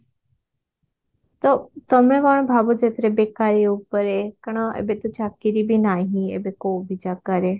ତ ତମେ କଣ ଭାବୁଛ ଏଥିରେ ବେକାରୀ ଉପରେ କାରଣ ଏବେ ତ ଚାକିରି ବି ନାହିଁ ଏବେ କଉ ବି ଜାଗାରେ